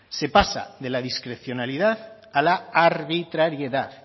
se pasa de la discrecionalidad a la arbitrariedad